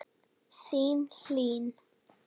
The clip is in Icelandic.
Þín Hlín.